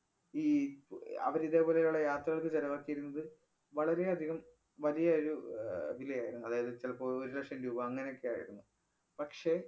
ഈ പ~ അഹ് അവര് ഇതേപോലെയുള്ള യാത്രകള്‍ക്ക് ചെലവാക്കിയിരുന്നത് വളരെയധികം വലിയ ഒരു ആഹ് വിലയായിരുന്നു. അതായത്, ചെലപ്പോ ഒരുലക്ഷം രൂപ അങ്ങനെയൊക്കെയായിരുന്നു. പക്ഷേ